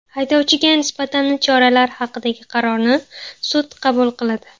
Haydovchiga nisbatan choralar haqidagi qarorni sud qabul qiladi.